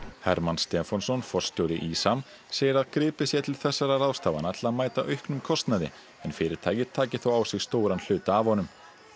Hermann Stefánsson forstjóri ÍSAM segir að gripið sé til þessara ráðstafana til að mæta auknum kostnaði en fyrirtækið taki þó á sig stóran hluta af honum